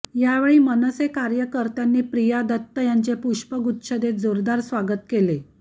यावेळी मनसे कार्यकर्त्यांनी प्रिया दत्त यांचे पुष्पगुच्छ देत जोरदार स्वागत केले